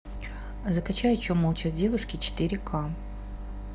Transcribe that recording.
закачай о чем молчат девушки четыре ка